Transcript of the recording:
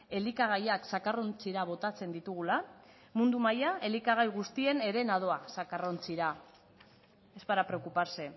elikagaiak zakarrontzira botatzen ditugula mundu mailan elikagai guztien herena doa zakarrontzira es para preocuparse